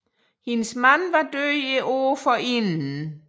Hendes mand var død året forinden